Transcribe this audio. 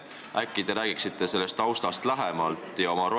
Äkki te räägite sellest taustast lähemalt?